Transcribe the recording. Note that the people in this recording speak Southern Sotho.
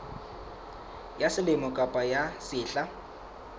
ya selemo kapa ya sehla